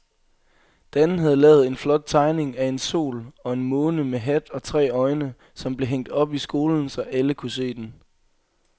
Dan havde lavet en flot tegning af en sol og en måne med hat og tre øjne, som blev hængt op i skolen, så alle kunne se den.